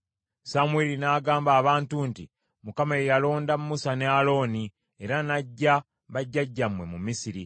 Samwiri n’agamba abantu nti, “ Mukama ye yalonda Musa ne Alooni era n’aggya bajjajjammwe mu Misiri.